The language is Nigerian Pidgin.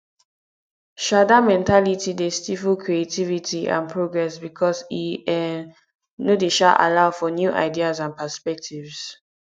um dat mentality dey stifle creativity and progress because e um no dey um allow for new ideas and perspectives